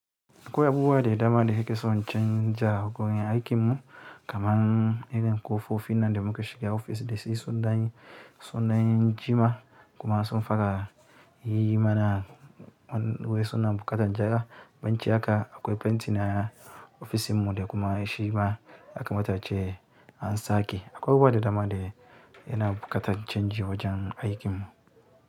Akwai abubuwa da dama da nake son in canji, a gurin aikin mu kamar irin ƙofofi nan da muka shiga ofis da shi sun ɗan. Sun ɗan jima kuma sun fara yi mana wai suna buƙatar gyara. Baciln haka akwai fenti na ofis ɗinmu da kuma shima aka mata ace an sake. Akwai abubuwa da dama dai yana buƙatar canji wajen aikin mu.